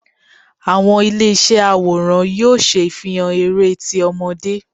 Awọn ile iṣẹ aworan yóò ṣe ifihàn eré tí ọmọde